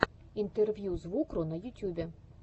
интервью звукру на ютюбе